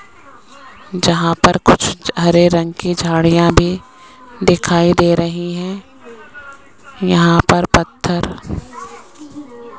जहां पर कुछ हरे रंग की झाड़ियां भी दिखाई दे रही हैं यहां पर पत्थर --